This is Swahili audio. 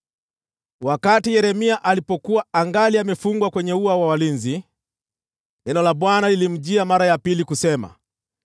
Wakati Yeremia alipokuwa angali amefungwa kwenye ua wa walinzi, neno la Bwana lilimjia mara ya pili kusema: